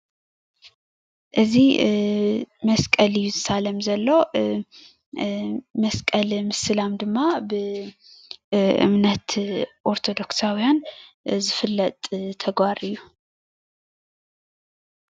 እዚ መስቀል እዩ ዝሳለም ዘሎ መስቀል ምስላም ድማ ብእምነት ኦርቶዶክሳዉያን ዝፍለጥ ተግባር እዩ።